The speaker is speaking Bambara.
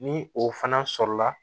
Ni o fana sɔrɔla